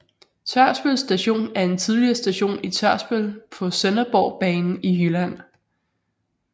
Tørsbøl Station er en tidligere station i Tørsbøl på Sønderborgbanen i Jylland